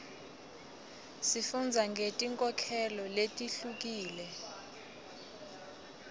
sifundza ngeti nkholelo letihlukile